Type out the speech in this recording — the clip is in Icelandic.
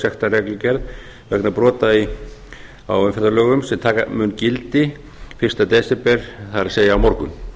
á sektarreglugerð vegna brota á umferðarlögum sem taka mun gildi fyrsta desember það er á morgun